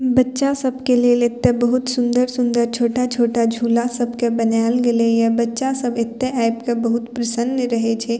बच्चा सबके लेल एता बहुत सुंदर-सुंदर छोटा-छोटा झूला सबके बनाएल गैले ये बच्चा सब एता आब के बहुत प्रसन्न रहे छै।